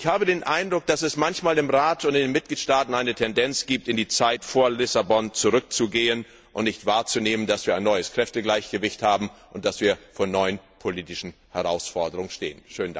Ich habe den Eindruck, dass es im Rat und in den Mitgliedstaaten manchmal eine Tendenz gibt, in die Zeit vor Lissabon zurückzugehen und nicht wahrzunehmen, dass wir ein neues Kräftegleichgewicht haben und dass wir vor neuen politischen Herausforderungen stehen.